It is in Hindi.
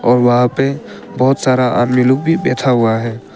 और वहां पे बहोत सारा आदमी लोग भी बैठा हुआ है।